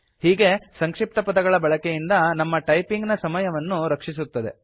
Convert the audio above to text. ಹೀಗೆ ಸಂಕ್ಷಿಪ್ತಪದಗಳ ಬಳಕೆಯಿಂದ ನಮ್ಮ ಟೈಪಿಂಗ್ ನ ಸಮಯವನ್ನು ರಕ್ಷಿಸುತ್ತದೆ